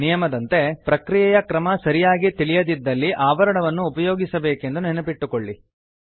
ನಿಯಮದಂತೆ ಪ್ರಕ್ರಿಯೆಯ ಕ್ರಮ ಸರಿಯಾಗಿ ತಿಳಿಯದಿದ್ದಲ್ಲಿ ಆವರಣವನ್ನು ಉಪಯೋಗಿಸಬೇಕೆಂದು ನೆನಪಿಟ್ಟುಕೊಳ್ಳಿ